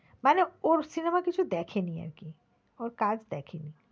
মানে ওর cinema কিছু দেখেনি আরকি, ওর কাজ দেখেনি।